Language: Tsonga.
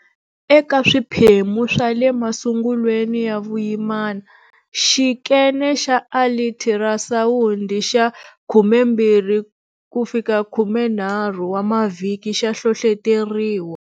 Eka swiphemu swa le masungulweni ya vuyimana, xikene xa alitirasawundi xa 12-13 wa mavhiki xa hlohloteriwa.